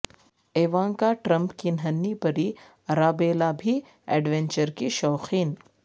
Ivanka Trump کی ننھی پری ارابیلا بھی ایڈونچر کی شوقین